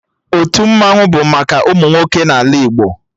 Otu Mmannwụ bụ maka ụmụ nwoke n'ala Igbo